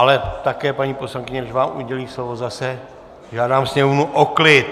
Ale také, paní poslankyně, než vám udělím slovo, zase žádám sněmovnu o klid!